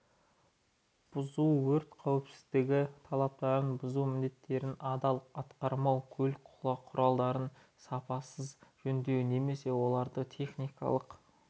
бұзу өрт қауіпсіздігі талаптарын бұзу міндеттерін адал атқармау көлік құралдарын сапасыз жөндеу немесе оларды техникалық